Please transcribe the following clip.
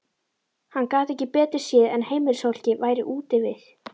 Hann gat ekki betur séð en heimilisfólkið væri úti við.